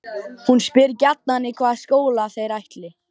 Hún spyr gjarnan í hvaða skóla þeir ætli.